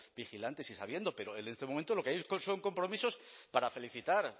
vigilantes y sabiendo pero en este momento lo que hay son compromisos para felicitar